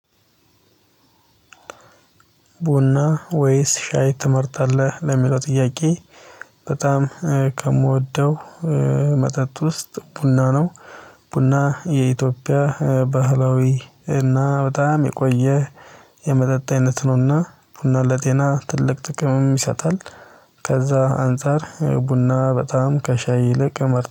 ቡና ወይስ ሻይ ትመርጣለህ ለሚለው ጥያቄ? በጣም ከምወደው መጠጥ ውስጥ ቡና ነው። ቡና የኢትዮጵያ ባህላዊ እና በጣም የቆየ የመጠጥ አይነት ነውና ቡና ለጤና ትልቅ ጥቅም ይሰጣል። ከዛ አንፃር ቡና በጣም ከሻይ ይልቅ እመር